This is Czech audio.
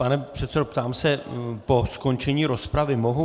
Pane předsedo, ptám se: Po skončení rozpravy mohu?